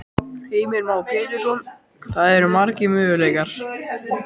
Heimir Már Pétursson: Það eru margir möguleikar?